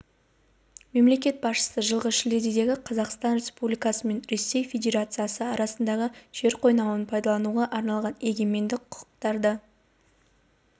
мемлекет басшысы жылғы шілдедегі қазақстан республикасы мен ресей федерациясы арасындағы жер қойнауын пайдалануға арналған егемендік құқықтарды